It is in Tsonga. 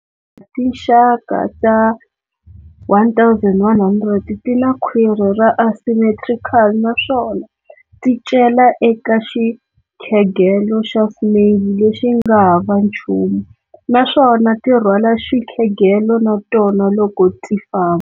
Tinxaka ta 1100 tina khwiri ra asymmetrical naswona, ti cela eka xikhegelo xa snail lexinga hava nchumu naswona ti rhwala xikhegelo na tona loko ti famba.